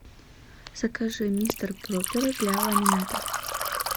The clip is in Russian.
закажи мистер пропер для ламината